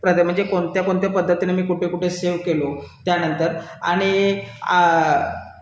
म्हणजे कोणत्या कोणत्या पद्धतीने मी कुठे कुठे सेव केलं व्याजदर आणि